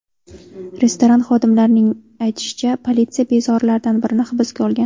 Restoran xodimlarining aytishicha, politsiya bezorilardan birini hibsga olgan.